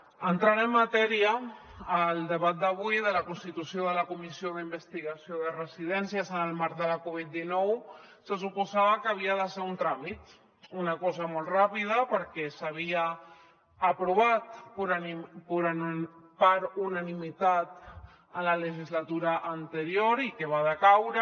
entrant en matèria el debat d’avui de la constitució de la comissió d’investigació de residències en el marc de la covid dinou se suposava que havia de ser un tràmit una cosa molt ràpida perquè s’havia aprovat per unanimitat en la legislatura anterior i que va decaure